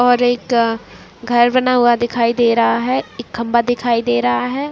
और एक घर बना हुआ दिखाई दे रहा है एक खंभा दिखाई दे रहा है।